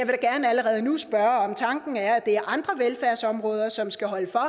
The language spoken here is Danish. da gerne allerede nu spørge om tanken er at det er andre velfærdsområder som skal holde for og